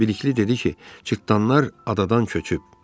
Bilikli dedi ki, cırtdanlar adadadır.